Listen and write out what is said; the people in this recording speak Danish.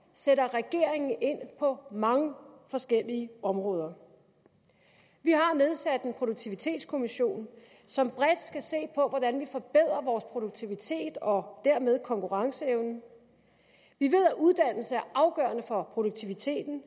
sætter regeringen ind på mange forskellige områder vi har nedsat en produktivitetskommission som bredt skal se på hvordan vi forbedrer produktiviteten og dermed konkurrenceevnen vi ved at uddannelse er afgørende for produktiviteten